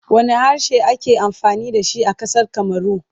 Wanne harshe ake amfani da shi a ƙasar Kamaru?